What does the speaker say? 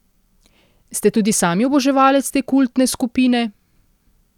Ste tudi sami oboževalec te kultne skupine?